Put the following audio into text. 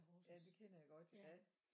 Ja det kender jeg godt ja